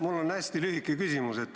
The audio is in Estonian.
Mul on hästi lühike küsimus.